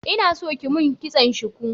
Ina so kiyi mun kitson shuku